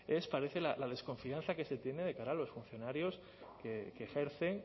es parece la desconfianza que se tiene de cara a los funcionarios que ejercen